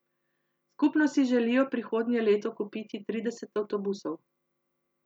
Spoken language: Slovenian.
Skupno si želijo prihodnje leto kupiti trideset avtobusov.